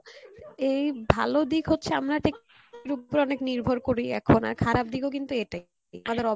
এই ভালো দিক হচ্ছে আর খারাপ দিক ও কিন্তু এতে আমাদের